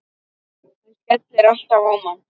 Hann skellir alltaf á mann!